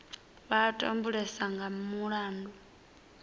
vha a tambulesa nga mulandu